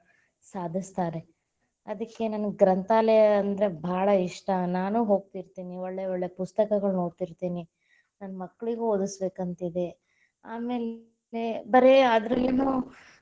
ಸಾಧಸ್ತಾರೆ, ಅದಕ್ಕೆ ನನಗ ಗ್ರಂಥಾಲಯ ಅಂದ್ರ ಭಾಳ ಇಷ್ಟ, ನಾನು ಹೋಗತಿತೇ೯ನಿ, ಒಳ್ಳೆ ಒಳ್ಳೆ ಪುಸ್ತಕಗಳನ್ನೋದ್ತಿತೇ೯ನಿ, ನನ್ನ ಮಕ್ಕಳಿಗೂ ಓದಸ್ಬೇಕ ಅಂತಿದೆ, ಆಮೇಲೆ ಬರ್ರೆ ಅದರಲ್ಲಿನು.